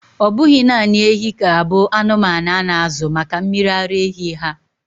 Ọ bụghị naanị ehi ga-abụ anụmanụ a na-azụ maka mmiri ara ehi ha.